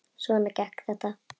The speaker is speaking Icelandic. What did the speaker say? Svona gekk þetta.